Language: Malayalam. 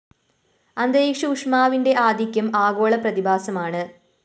അന്തരീക്ഷ ഊഷ്മാവിന്റെ ആധിക്യം ആഗോള പ്രതിഭാസമാണ്